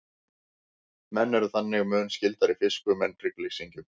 menn eru þannig mun skyldari fiskum en hryggleysingjum